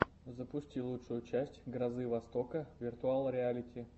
запусти лучшую часть грозы востока виртуал реалити